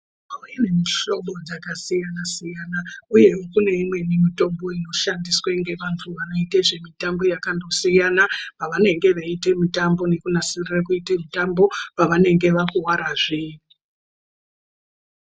Mitombo ine mihlobo dzakasiyana siyana uye kune imweni mitombo inoshandiswa ngevantu anoita zvemitambo yakando siyana pavanenge veiita mitombo nekunasirura kuita mitombo pavanenge vakuvara zve.